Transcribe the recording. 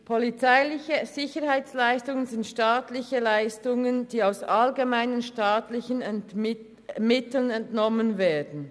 Polizeiliche Sicherheitsleistungen sind staatliche Leistungen, die aus allgemeinen staatlichen Mitteln entnommen werden.